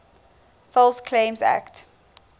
false claims act